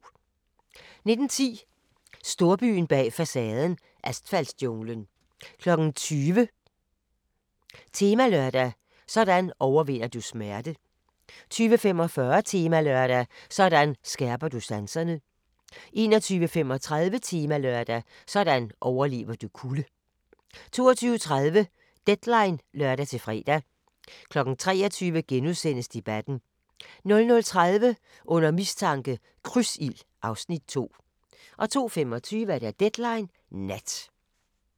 19:10: Storbyen bag facaden – asfaltjunglen 20:00: Temalørdag: Sådan overvinder du smerte 20:45: Temalørdag: Sådan skærper du sanserne 21:35: Temalørdag: Sådan overlever du kulde 22:30: Deadline (lør-fre) 23:00: Debatten * 00:30: Under mistanke – Krydsild (Afs. 2) 02:25: Deadline Nat